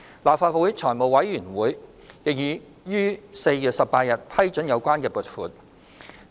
立法會財務委員會已於4月18日批准有關撥款。